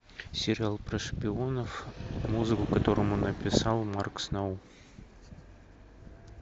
сериал про шпионов музыку к которому написал марк сноу